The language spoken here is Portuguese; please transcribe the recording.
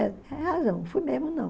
É tem razão, fui mesmo não.